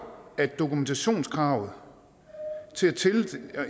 at dokumentationskravet